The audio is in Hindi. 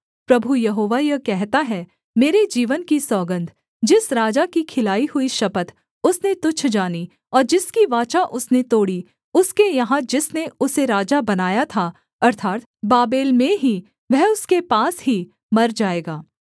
प्रभु यहोवा यह कहता है मेरे जीवन की सौगन्ध जिस राजा की खिलाई हुई शपथ उसने तुच्छ जानी और जिसकी वाचा उसने तोड़ी उसके यहाँ जिसने उसे राजा बनाया था अर्थात् बाबेल में ही वह उसके पास ही मर जाएगा